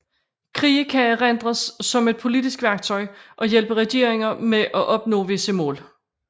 Krige kan erindres som et politisk værktøj og hjælpe regeringer med at opnå visse mål